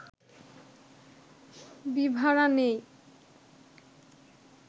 বিভারা নেই